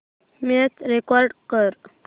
match record कर